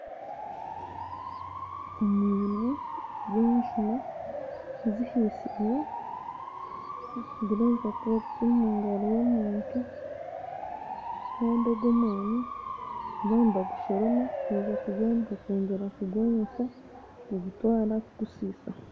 Omwani gw'enjuuma zihaisize nigureebeka kuba guri omungaro y'omuntu, kandi ogwo omwani nibaba nibagushoroma kwija kugwanika kwongyera kugwomesa kugutwara kugusa.